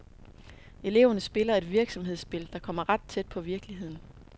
Eleverne spiller et virksomhedsspil, der kommer ret tæt på virkeligheden.